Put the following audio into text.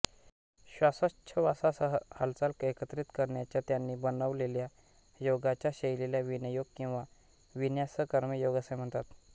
श्वासोच्छवासासह हालचाल एकत्रित करण्याच्या त्यानी बनवलेल्या योगाच्या शैलीला विनीयोग किंवा विन्यास कर्म योग असे म्हणतात